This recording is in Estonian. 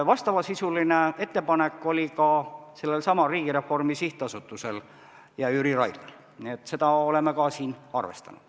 Vastav ettepanek oli ka sellelsamal Riigireformi SA-l ja Jüri Raidlal, seda oleme siin arvestanud.